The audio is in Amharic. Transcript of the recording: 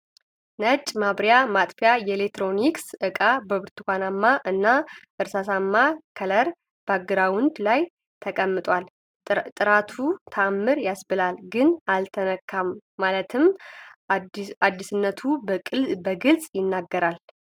ነጭ የማብሪያ ማጥፊያ የኤሌክትሮኒክስ እቃ በብርቱካናማ እና እስራስማ ከለር ባግራውንድ ላይ ተቀምጧል ፤ ጥራቱ ታምር ያስብላል ግን አልተነካም ማለትም አዲስነቱን በግልፅ ይናገራል።